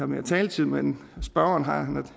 mere taletid men spørgeren har